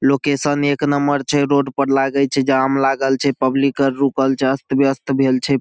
Location एक number छै road पर लागय छै जाम लागल छै पब्लिक आर रुकल छै अस्त व्यवस्थ भेल छै।